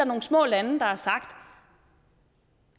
nogle små lande der har sagt